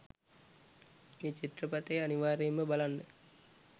මේ චිත්‍රපටය අනිවාර්යෙන්ම බලන්න